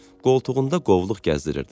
Qoltuğunda qovluq gəzdirirdi.